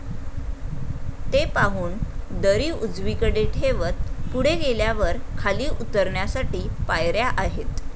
ते पाहून दरी उजवी कडे ठेवत पुढे गेल्यावर खाली उतरण्यासाठी पायऱ्या आहेत